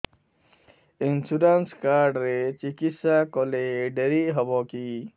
insurance card ରେ ଚିକିତ୍ସା କଲେ ଡେରି ହବକି